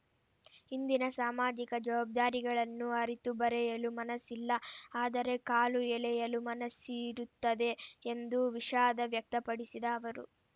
ಇಂದಿನ ಸಾಮಾಜಿಕ ಜವಾಬ್ದಾರಿಗಳನ್ನು ಅರಿತು ಬರೆಯಲು ಮನಸ್ಸಿಲ್ಲ ಆದರೆ ಕಾಲು ಎಳೆಯಲು ಮನಸ್ಸಿರುತ್ತದೆ ಎಂದು ವಿಷಾದ ವ್ಯಕ್ತಪಡಿಸಿದ ಅವರು